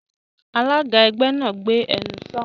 Alága ẹgbẹ́ náà, "Gbé ẹnu sọ̀ún!"